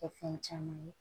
Kɛ fɛn caman ye